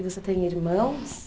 E você tem irmãos?